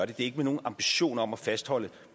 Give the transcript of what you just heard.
det er ikke med nogen ambition om at fastholde